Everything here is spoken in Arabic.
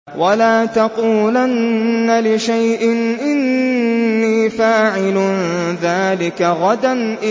وَلَا تَقُولَنَّ لِشَيْءٍ إِنِّي فَاعِلٌ ذَٰلِكَ غَدًا